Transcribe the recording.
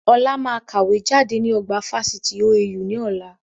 Ọlá máa kàwé jáde ní ọgbà Fáṣítì OAU ni ọ̀la